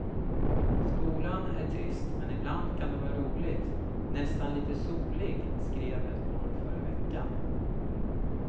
Skolan är trist men ibland kan den vara rolig, nästan lite solig, skrev ett barn förra veckan.